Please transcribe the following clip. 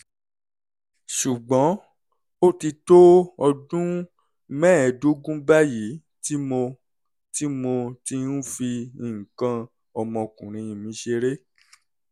ṣùgbọ́n ó ti tó ọdún mẹ́ẹ̀ẹ́dógún báyìí tí mo tí mo ti ń fi nǹkan ọmọkùnrin mi ṣeré